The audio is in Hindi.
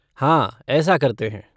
हाँ, ऐसा करते हैं।